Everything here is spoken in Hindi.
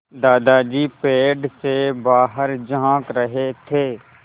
दादाजी पेड़ से बाहर झाँक रहे थे